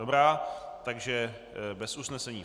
Dobrá, takže bez usnesení.